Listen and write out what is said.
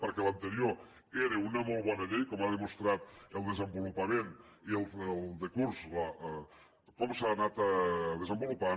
perquè l’anterior era una molt bona llei com ho han demostrat el desenvolupament i el decurs com s’ha anat desenvolupant